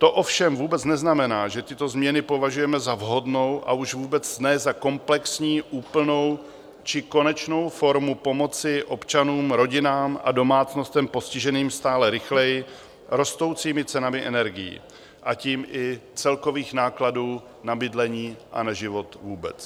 To ovšem vůbec neznamená, že tyto změny považujeme za vhodnou, a už vůbec ne za komplexní, úplnou či konečnou formu pomoci občanům, rodinám a domácnostem postiženým stále rychleji rostoucími cenami energií, a tím i celkových nákladů na bydlení a na život vůbec.